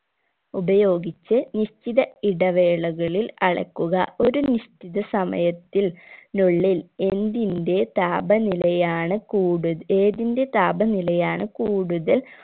ഉപയോഗിച് നിശ്ചിത ഇടവേളകളിൽ അളക്കുക ഒരു നിശ്ചിത സമയത്തിൽ നുള്ളിൽ എന്തിന്റെ താപനിലയാണ് കൂടുത ഏതിൻറെ താപനിലയാണ് കൂടുതൽ